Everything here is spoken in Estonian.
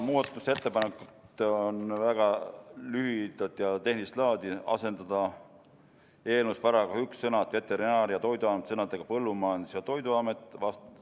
Muudatusettepanekud on väga lühidad ja tehnilist laadi: asendada eelnõu §-s 1 sõnad "Veterinaar- ja Toiduamet" sõnadega "Põllumajandus- ja Toiduamet".